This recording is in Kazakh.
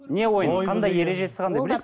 не ойын қандай ережесі қандай